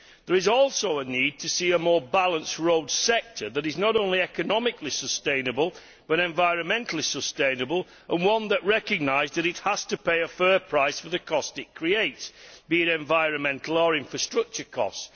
There is also a need to see a more balanced road sector that is not only economically sustainable, but also environmentally sustainable, and one that recognises that it has to pay a fair price for the costs it creates be these environmental or infrastructure costs.